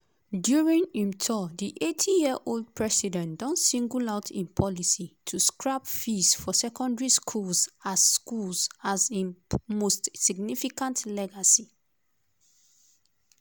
during im tour di 80-year-old president don single out im policy to scrap fees for secondary schools as schools as im "most significant legacy".